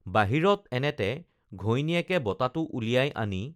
বাহিৰত এনেতে ঘৈণীয়েকে বঁটাটো উলিয়াই আনি